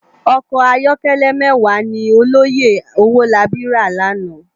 Òkò àyòkèlè mèwá ni òlòyé Owolabi rá làná